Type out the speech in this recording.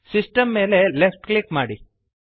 system ಮೇಲೆ left click ಮಾಡಿರಿ